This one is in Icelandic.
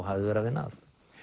hafði verið að vinna að